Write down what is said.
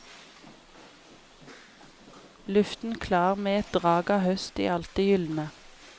Luften klar med et drag av høst i alt det gyldne.